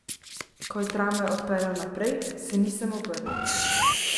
Ko je tramvaj odpeljal naprej, se nisem obrnil.